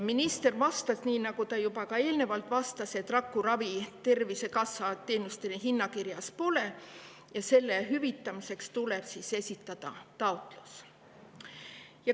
Minister vastas nii, nagu ta juba ka eelnevalt vastas: rakuravi Tervisekassa teenuste hinnakirjas pole ja selle hüvitamiseks tuleb esitada taotlus.